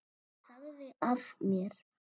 Ég sagði af mér.